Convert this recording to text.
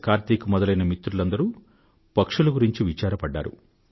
కార్తీక్ మొదలైన మిత్రులందరూ పక్షుల గురించి విచారపడ్డారు